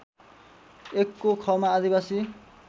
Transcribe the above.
१ को ख मा आदिवासी